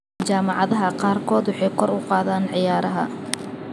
Jaamacadaha qaarkood waxay kor u qaadaan ciyaaraha.